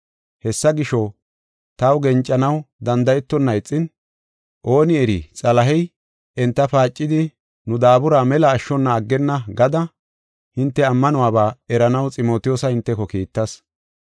Hessa gisho, taw gencanaw danda7etonna ixin, “Ooni eri Xalahey enta paacidi nu daabura mela ashshona aggenna” gada hinte ammanuwaba eranaw Ximotiyoosa hinteko kiittas.